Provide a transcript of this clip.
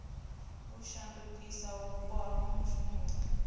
u shandukisa vhupo ha mushumoni